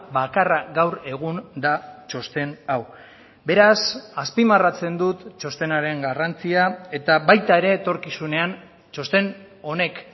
bakarra gaur egun da txosten hau beraz azpimarratzen dut txostenaren garrantzia eta baita ere etorkizunean txosten honek